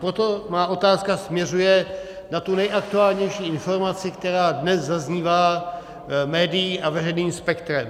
Proto má otázka směřuje na tu nejaktuálnější informaci, která dnes zaznívá médii a veřejným spektrem.